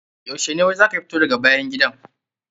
Yaushe ne wai za ka fito daga bayan gidan?